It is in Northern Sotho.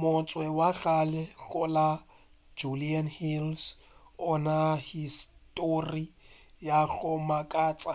motse wa kgale go la judean hills o na le histori ya go makatša